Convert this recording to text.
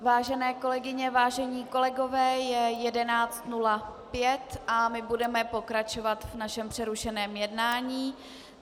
Vážené kolegyně, vážení kolegové, je 11.05 a my budeme pokračovat v našem přerušeném jednání.